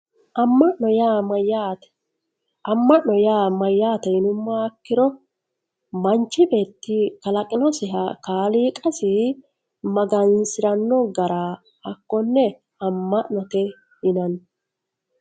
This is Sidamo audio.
Amma'no yaa mayyaate? amma'no yaa mayyaate yinummoha ikkiro manchu beetti kalaqinosiha kaliiqasi magansiranno gara hakkonne amma'note yinanni